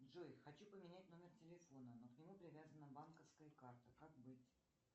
джой хочу поменять номер телефона но к нему привязана банковская карта как быть